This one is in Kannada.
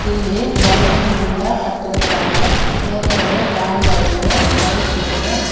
ಇಲ್ಲಿ ಬಲೂನ್ ನಿಂದ ಕಟ್ಟಿರುತ್ತಾರೆ ಮೇಲ್ಗಡೆ ಫ್ಯಾನ್ ಗಳಿವೆ ಲೈಟ್ ಇದೆ.